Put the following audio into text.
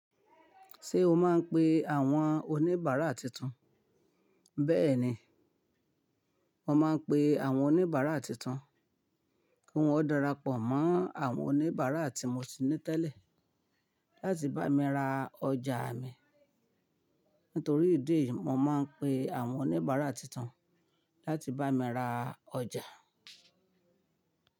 Ṣé o máa ń pe àwọn oníbàárà titun? Bẹ́ẹ̀ni, mo máa ń pe àwọn oníbàárà titun kí wọ́n darapọ̀ mọ́ àwọn oníbàárà tí mo ti ní tẹ́lẹ̀ láti bá mi ra ọjà mi. Nítorí ìdí èyí, mo máa ń pe àwọn oníbàárà titun láti bá mi ra ọjà.